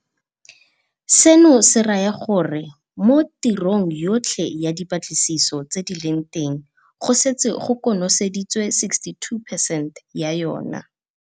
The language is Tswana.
Seno se raya gore mo tirong yotlhe ya dipatlisiso tse di leng teng go setse go konoseditswe 62 percent ya yona.